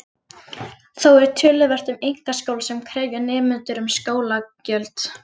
Þó er töluvert um einkaskóla sem krefja nemendur um skólagjöld.